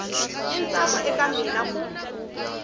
i ntsako eka mina ku